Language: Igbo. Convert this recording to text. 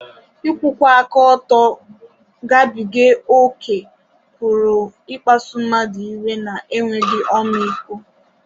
Ịkwụwa aka ọtọ gabiga ókè pụrụ ịkpasu mmadụ iwe na enweghị ọmịiko.